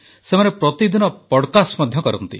ସେମାନେ ପ୍ରତିଦିନ ପଡକାଷ୍ଟ କରନ୍ତି